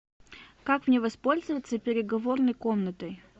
как мне воспользоваться переговорной комнатой